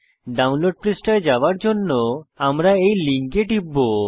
download পৃষ্ঠায় যাওয়ার জন্য আমরা এই লিঙ্কে টিপব